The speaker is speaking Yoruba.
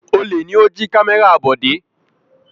Olè ni ó jí kámẹ́rà Bọ̀dé.